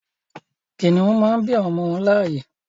Kìnnìún màá n bí àwọn ọmọ wọn láàyè